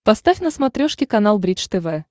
поставь на смотрешке канал бридж тв